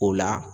O la